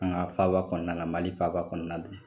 An ka faaba kɔnɔna, Mali faaba kɔnɔna don